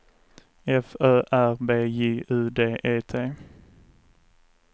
F Ö R B J U D E T